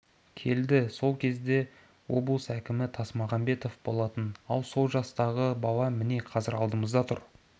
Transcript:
келді сол кезде облыс әкімі тасмағамбетов болатын ал сол жастағы бала міне қазір алдымызда тұр